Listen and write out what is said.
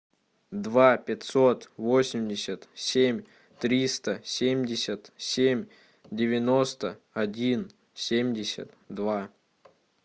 два пятьсот восемьдесят семь триста семьдесят семь девяносто один семьдесят два